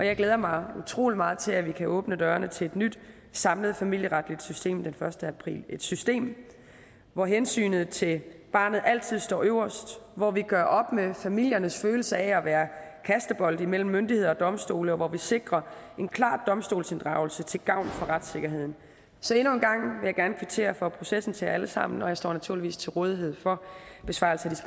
jeg glæder mig utrolig meget til at vi kan åbne dørene til et nyt samlet familieretligt system den første april et system hvor hensynet til barnet altid står øverst hvor vi gør op med familiernes følelse af at være kastebold imellem myndigheder og domstole og hvor vi sikrer en klar domstolsinddragelse til gavn for retssikkerheden så endnu en gang vil jeg gerne kvittere for processen til jer alle sammen og jeg står naturligvis til rådighed for besvarelse